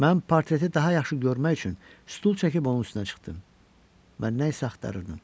Mən portreti daha yaxşı görmək üçün stul çəkib onun üstünə çıxdım və nə isə axtarırdım.